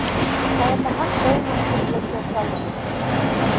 Það er með hans augum sem ég sé sjálfa mig núna.